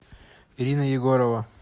ирина егорова